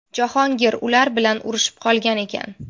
Jahongir ular bilan urushib qolgan ekan.